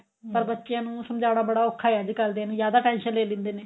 ਪਰ ਬੱਚਿਆ ਨੂੰ ਸਮਜਾਣਾ ਬੜਾ ਔਖਾ ਆ ਅੱਜਕਲ ਦੇ ਨੂੰ ਜਿਆਦਾ tension ਲੈ ਲੈਂਦੇ ਨੇ